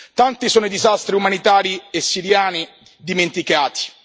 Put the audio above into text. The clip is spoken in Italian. Tanti sono i disastri umanitari e siriani dimenticati.